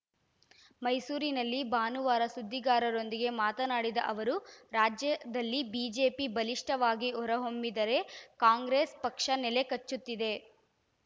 ಮೈಸೂರಿನಲ್ಲಿ ಭಾನುವಾರ ಸುದ್ದಿಗಾರರೊಂದಿಗೆ ಮಾತನಾಡಿದ ಅವರು ರಾಜ್ಯದಲ್ಲಿ ಬಿಜೆಪಿ ಬಲಿಷ್ಠವಾಗಿ ಹೊರ ಹೊಮ್ಮಿದರೆ ಕಾಂಗ್ರೆಸ್‌ ಪಕ್ಷ ನೆಲ ಕಚ್ಚುತ್ತಿದೆ